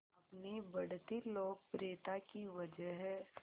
अपनी बढ़ती लोकप्रियता की वजह